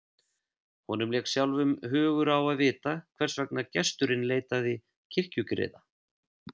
Honum lék sjálfum hugur á að vita hvers vegna gesturinn leitaði kirkjugriða.